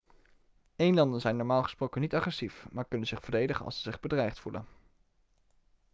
elanden zijn normaal gesproken niet agressief maar kunnen zich verdedigen als ze zich bedreigd voelen